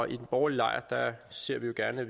i den borgerlige lejr ser vi jo gerne at